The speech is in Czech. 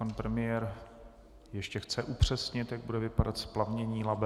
Pan premiér ještě chce upřesnit, jak bude vypadat splavnění Labe.